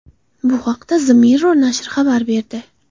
Bu haqda The Mirror nashri xabar berdi .